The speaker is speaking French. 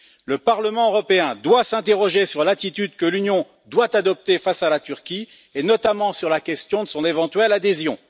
Le Parlement européen doit s'interroger sur l'attitude que l'Union doit adopter face à la Turquie et notamment sur la question de son éventuelle adhésion.